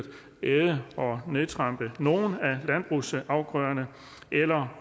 æde af og nedtrampe nogle af landbrugsafgrøderne eller